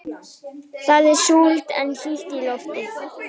Það er súld en hlýtt í lofti.